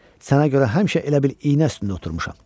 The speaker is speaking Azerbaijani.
Sənə görə həmişə elə bil iynə üstündə oturmuşam.